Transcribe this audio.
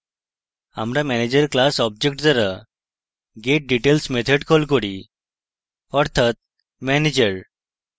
আমরা manager class object দ্বারা getdetails method call করছি অর্থাৎ manager